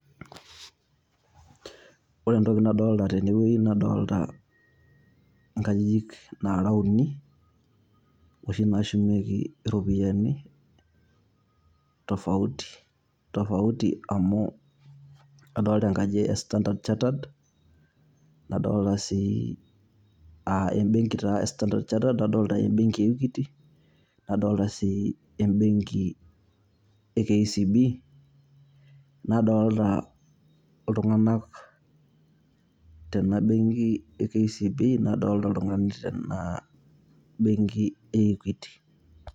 Ore entoki nadolta tenewei, nadolta inkajijik nara uni, oshi nashumieki iropiyiani, tofauti tofauti amu adolta enkaji e Standard Chattered, nadolta si ah ebenki taa e Standard Chattered, nadolta ebenki e Equity, nadolta si ebenki e KCB. Nadolta iltung'anak tena benki e KCB,nadolta iltung'anak tena benki e Equity.